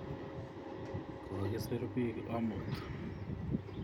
Kokisir piik amut